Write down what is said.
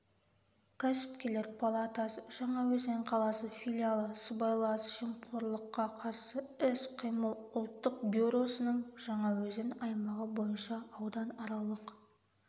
кәсіпкерлер палатасы жаңаөзен қаласы филиалы сыбайлас жемқорлыққа қарсы іс-қимыл ұлттық бюросының жаңаөзен аймағы бойынша ауданаралық